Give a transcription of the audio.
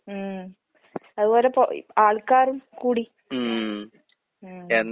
ഉം. അതുപോലിപ്പോ ആൾക്കാരും കൂടി. ഉം